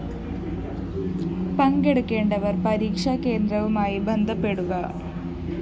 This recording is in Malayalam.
പങ്കെടുക്കേണ്ടവര്‍ പരീക്ഷാ കേന്ദ്രവുമായി ബന്ധപ്പെടുക